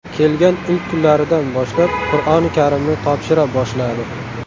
Kelgan ilk kunlaridan boshlab Qur’oni Karimni topshira boshladi.